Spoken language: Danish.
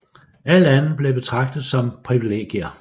Alt andet blev betragtet som privilegier